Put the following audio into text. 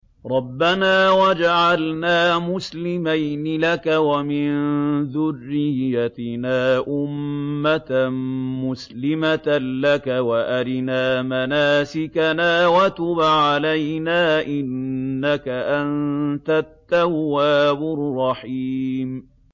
رَبَّنَا وَاجْعَلْنَا مُسْلِمَيْنِ لَكَ وَمِن ذُرِّيَّتِنَا أُمَّةً مُّسْلِمَةً لَّكَ وَأَرِنَا مَنَاسِكَنَا وَتُبْ عَلَيْنَا ۖ إِنَّكَ أَنتَ التَّوَّابُ الرَّحِيمُ